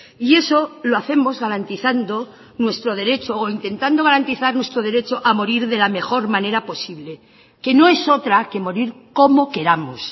y eso lo hacemos garantizando nuestro derecho o intentando garantizar nuestro derecho a morir de la mejor manera posible que no es otra que morir como queramos